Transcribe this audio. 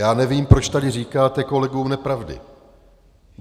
Já nevím, proč tady říkáte kolegům nepravdy.